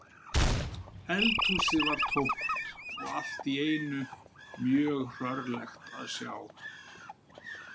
Eldhúsið var tómt og allt í einu mjög hrörlegt að sjá